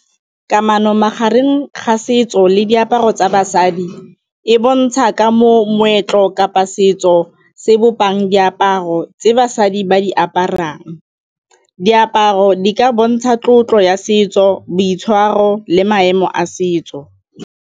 Kamano magareng ga setso le diaparo tsa basadi e bontsha ka moo moetlo kapa setso se bopang diaparo tsa basadi ba di aparang, diaparo di ka bontsha tlotlo ya setso, boitshwaro le maemo a setso.